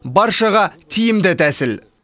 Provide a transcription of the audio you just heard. баршаға тиімді тәсіл